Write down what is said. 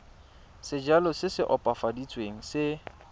sejalo se se opafaditsweng se